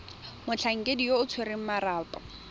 motlhankedi yo o tshwereng marapo